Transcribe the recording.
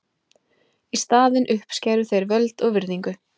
Í staðinn uppskæru þeir völd og virðingu.